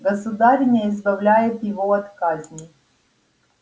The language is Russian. государыня избавляет его от казни